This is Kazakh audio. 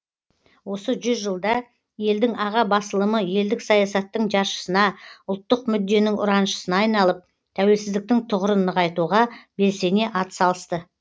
осы жүз жылда елдің аға басылымы елдік саясаттың жаршысына ұлттық мүдденің ұраншысына айналып тәуелсіздіктің тұғырын нығайтуға белсене атсалысты